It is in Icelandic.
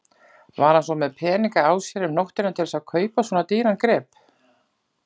Var hann með peninga á sér um nóttina til þess að kaupa svona dýran grip?